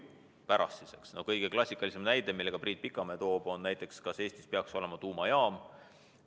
Kõige klassikalisem näide, mille ka Priit Pikamäe toob, on näiteks küsimus selle kohta, kas Eestis peaks olema tuumajaam.